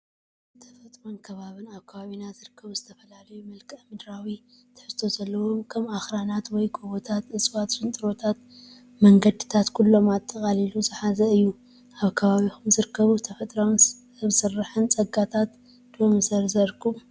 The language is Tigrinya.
ተፈጥሮን ከባብን፡- ኣብ ከባቢና ዝርከቡ ዝተፈላለዩ መልክኣ-ምድራዊ ትሕዝቶ ዘለዎም ከም ኣኽራናት ወይ ጎቦታት፣ እፅዋት፣ ሽንጥሮታትን መንገዲታት ኩሎም ኣጠቓሊሉ ዝሓዘ እዩ፡፡ ካብ ከባቢኹም ዝርከቡ ተፈጥሮኣዊን ሰብ ስራሕን ፀጋታት ዶ ምዘርዘርኩም?